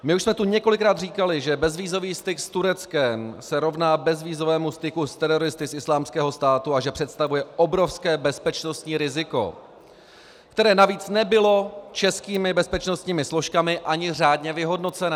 My už jsme tu několikrát říkali, že bezvízový styk s Tureckem se rovná bezvízovému styku s teroristy z Islámského státu a že představuje obrovské bezpečnostní riziko, které navíc nebylo českými bezpečnostními složkami ani řádně vyhodnocené.